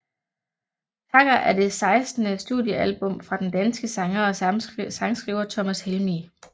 Takker er det sekstende studiealbum fra den danske sanger og sangskriver Thomas Helmig